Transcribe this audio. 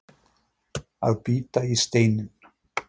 Að bíta í steininn